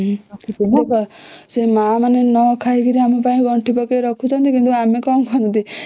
ସେଇ ମା ମାନେ ନା କହି କରି କରି ଆମ ପାଇଁ ଗଣ୍ଠି କରି ରଖୁଛନ୍ନତି କିନ୍ତୁ ଆମେ କଣ କରନ୍ତି